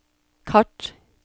kart